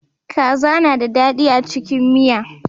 Kaza na da daɗi a cikin miya.